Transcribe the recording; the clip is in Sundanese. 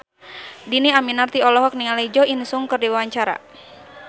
Dhini Aminarti olohok ningali Jo In Sung keur diwawancara